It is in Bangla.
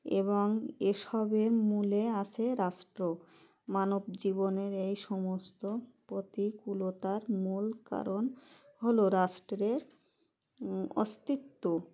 এবং এসবের মূলে আছে রাষ্ট্র মানবজীবনের এই সমস্ত প্রতিকুলতার মূল কারণ হলো রাষ্ট্রের অস্তিত্ব